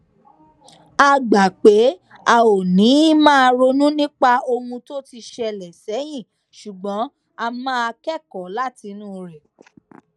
a gbà pé a ò ní máa ronú nípa ohun tó ti ṣẹlè sẹyìn ṣùgbón a máa kékòó látinú rè